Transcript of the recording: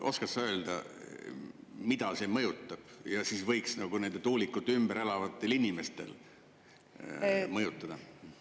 Oskad sa öelda, mida see mõjutab ja mida see võiks nende tuulikute ümber elavatel inimestel mõjutada?